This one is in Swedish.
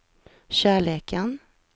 kärleken